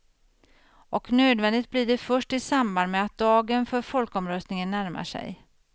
Och nödvändigt blir det först i samband med att dagen för folkomröstningen närmar sig.